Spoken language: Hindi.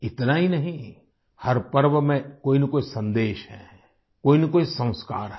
इतना ही नहीं हर पर्व में कोई न कोई सन्देश है कोईनकोई संस्कार है